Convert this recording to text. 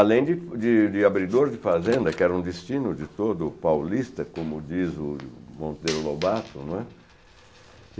Além de de de abridor de fazenda, que era um destino de todo paulista, como diz o Monteiro Lobato, não é?